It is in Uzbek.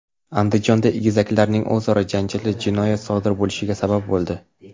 Andijonda egizaklarning o‘zaro janjali jinoyat sodir bo‘lishiga sabab bo‘ldi.